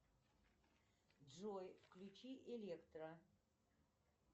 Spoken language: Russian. джой включи электро